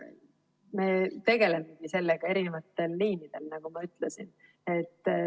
Me tegelemegi sellega erinevatel liinidel, nii nagu ma ütlesin.